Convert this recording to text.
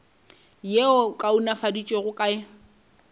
yeo e kaonafaditšwego ka go